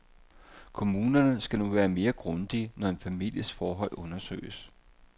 Kommunerne skal nu være mere grundige, når en families forhold undersøges.